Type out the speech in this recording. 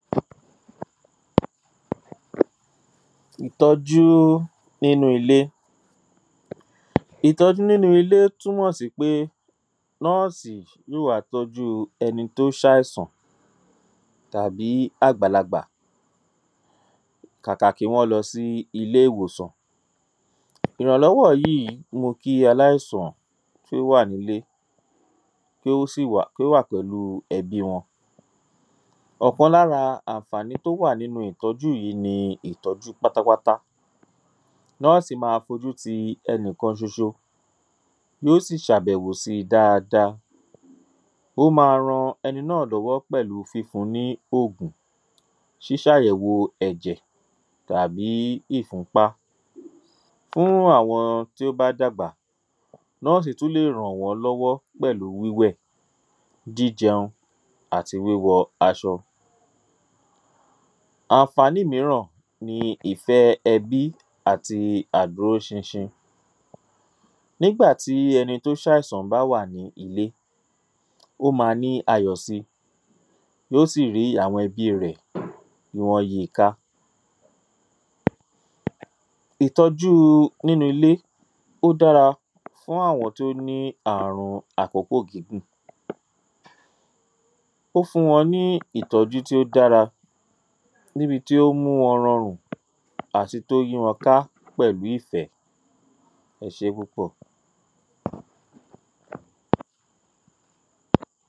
Ìtọ́jú nínú ilé ìtọ́jú nínú ilé túmọ̀ sí pé nọ́ọ̀sì yí ó wàá tọ́jú ẹni tó ṣáìsàn tàbí àgbàlagbà kàkà kí wọ́n lọ sí ilé ìwòsàn ìrànlọ́wọ́ yí í mú kí aláìsàn kí ó wà nílé kí ó sì wà kó wà pèlúu ẹbi wọn ọkan lára àǹfàní tó wà nínu ìtọ́jú yìí ni ìtọ́jú pátápátá nọ́ọ̀sì ma fojú ti ẹni kan ṣoṣo yó sì ṣàbẹ̀wò si daada ó ma ran ẹni náà lọ́wọ́ nípa fífun ní ògùn ṣíṣáyẹ̀wo ẹ̀jẹ̀ tàbí ífunpá fún àwọn tí ó bá dàgbà nọ́ọ̀sì tú lè ràn wọ́n lọ́wọ́ pẹ̀lu wíwẹ̀ jíjẹun àti wíwọ aṣọ àǹfàní míràn ni ìfẹ́ ẹbí àti àdúró ṣinṣin nígbà ti ẹni tó ṣáìsàn bá wà ní ilé ó ma ní ayọ̀ si yó sì rí àwọn ẹbí rẹ̀ í wọ́n yi i ká ìtọ́júu nínu ilé ó dára fún àwọn tó ní àrun àkókò gígùn ó fún wọn ní ìtọ́jú tí ó dára níbi tí ó mú wọn rọrùn àti tó yí wọn ká pẹ̀lú ìfẹ́ ẹ ṣé púpọ̀